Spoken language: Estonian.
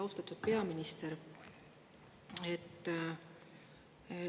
Austatud peaminister!